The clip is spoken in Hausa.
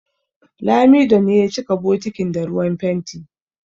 Lamido ne ya cika bokitin da ruwan fenti